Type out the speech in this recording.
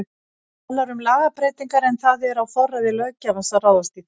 Þú talar um lagabreytingar en það er á forræði löggjafans að ráðast í þær?